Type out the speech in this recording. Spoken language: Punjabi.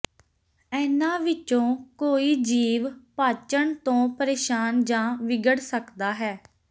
ਇਹਨਾਂ ਵਿੱਚੋਂ ਕੋਈ ਜੀਵ ਪਾਚਣ ਤੋਂ ਪਰੇਸ਼ਾਨ ਜਾਂ ਵਿਗੜ ਸਕਦਾ ਹੈ